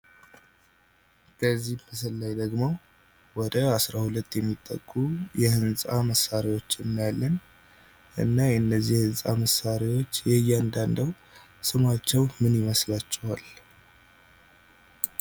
በዚህ ምስል ላይ ደሞ ወደ አስራሁለት የሚጠጉ የህንጻ መሳሪያዎችን እናያለን። እና የነዚህ የህንጻ መሳሪያዎች የየአንዳዳቸው ስማቸው ምን ይመስላችኋል?